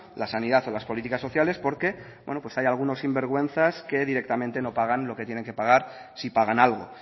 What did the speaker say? la sanidad o las políticas sociales porque hay algunos sinvergüenzas que directamente no pagan lo que tienen que pagar si pagan algo